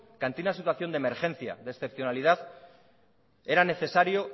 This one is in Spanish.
que ante una situación de emergencia de excepcionalidad era necesario